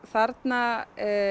þarna